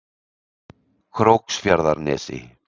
Króksfjarðarnesi